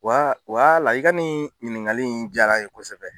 Wa wala i ka nin ɲiningali in diyara n ye kosɛbɛ